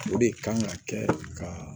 O de kan ka kɛ ka